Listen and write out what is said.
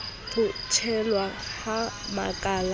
ho thehwa ha makala a